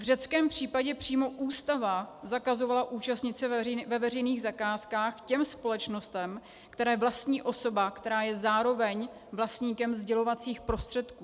V řeckém případě přímo ústava zakazovala účastnit se ve veřejných zakázkách těm společnostem, které vlastní osoba, která je zároveň vlastníkem sdělovacích prostředků.